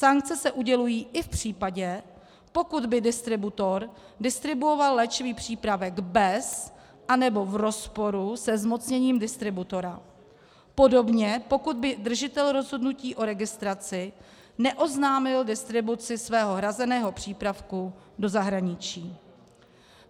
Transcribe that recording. Sankce se udělují i v případě, pokud by distributor distribuoval léčivý přípravek bez, anebo v rozporu se zmocněním distributora, podobně pokud by držitel rozhodnutí o registraci neoznámil distribuci svého hrazeného přípravku do zahraničí.